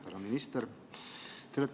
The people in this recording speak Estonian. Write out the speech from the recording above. Härra minister!